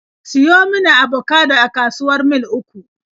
Siyo mun abokado a kasuwar Mil 3!